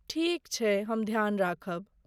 ठीक छैक, हम ध्यान राखब।